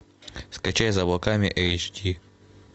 скачай за облаками эйч ди